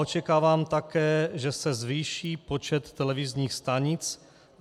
Očekávám také, že se zvýší počet televizních stanic.